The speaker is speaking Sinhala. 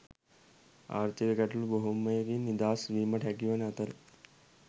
ආර්ථික ගැටලු බොහෝමයකින් නිදහස් වීමට හැකිවන අතර